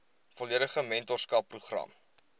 volledige mentorskap program